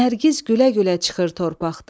Nərgiz gülə-gülə çıxır torpaqdan.